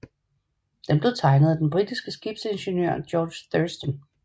Den blev tegnet af den britiske skibsingeniør George Thurston